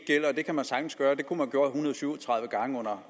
det kan man sagtens gøre det kunne og syv og tredive gange under